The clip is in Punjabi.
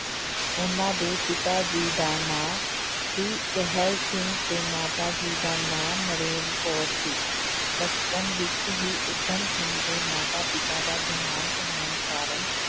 ਉਹਨਾਂ ਦੇ ਪਿਤਾ ਜੀ ਦਾ ਨਾਂ ਸੀ ਟਹਿਲ ਸਿੰਘ ਤੇ ਮਾਤਾ ਜੀ ਦਾ ਨਾਂ ਨਰੈਣ ਕੌਰ ਸੀ, ਬਚਪਨ ਵਿੱਚ ਹੀ ਊਧਮ ਸਿੰਘ ਦੇ ਮਾਤਾ ਪਿਤਾ ਦਾ ਦੇਹਾਂਤ ਹੋਣ ਕਾਰਨ